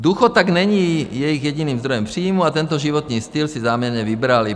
Důchod tak není jejich jediným zdrojem příjmů a tento životní styl si záměrně vybrali.